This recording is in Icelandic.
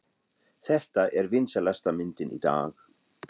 Þetta er vinsælasta myndin í dag!